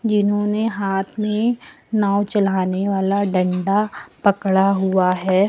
इन्होंने हाथ में नाव चलाने वाला डंडा पकड़ा हुआ है।